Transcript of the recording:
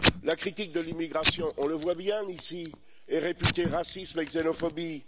La critique de l'immigration on le voit bien ici est réputée raciste et xénophobe.